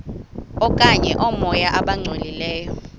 okanye oomoya abangcolileyo